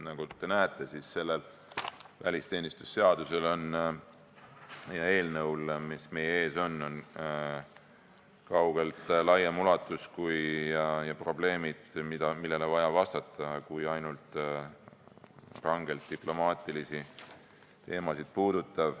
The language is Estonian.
Nii et nagu te näete, välisteenistuse seadusel ja eelnõul, mis meie ees on, on kaugelt laiem ulatus ja hoopis laiemad probleemid, millele on vaja reageerida, need ei puuduta ainult rangelt diplomaatilisi teemasid.